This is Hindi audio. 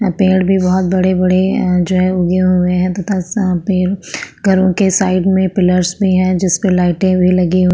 यां पेड़ भी बोहोत बड़े-बड़े हैं जो यहं उगे हुवे हैं तथा घरों के साइड में पिलर्स भी हैं जिस पे लाइटें भी लगी हुईं --.